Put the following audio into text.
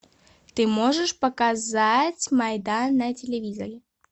ты можешь показать майдан на телевизоре